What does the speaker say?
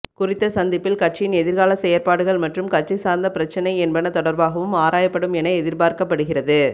குறித்த சந்திப்பில் கட்சியின் எதிர்கால செயற்பாடுகள் மற்றும் கட்சி சார்ந்த பிரச்சினை என்பன தொடர்பாகவும் ஆராயப்படும் என எதிர்பார்க்கப்படுகிறது